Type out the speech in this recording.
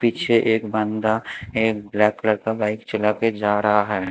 पीछे एक बंदा एक ब्लैक कलर का बाइक चला के जा रहा है।